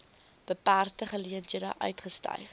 beperkte geleenthede uitgestyg